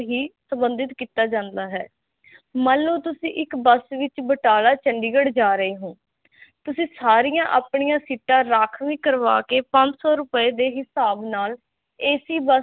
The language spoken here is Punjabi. ਸੰਬਧਿਤ ਕਿੱਤਾ ਜਾਂਦਾ ਹੈ ਮੰਨ ਲੋ ਤੁਸੀਂ ਇਕ ਬੱਸ ਵਿਚ ਬਟਾਲਾ ਚੰਡੀਗੜ੍ਹ ਜਾ ਰਹੇ ਹੋ ਤੁਸੀਂ ਸਾਰਿਆ ਅਪਣਿਆ ਸੀਟਾਂ ਰਾਖਵੀ ਕਰਵਾਕੇ ਪੰਜ ਸੋ ਰੂਪਏ ਦੇ ਹਿਸਾਬ ਨਾਲ ਏਸੀ ਬੱਸ